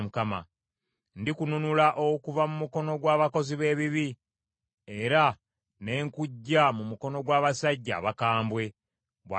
“Ndikununula okuva mu mukono gw’abakozi b’ebibi era n’enkuggya mu mukono gw’abasajja abakambwe,” bw’ayogera Mukama .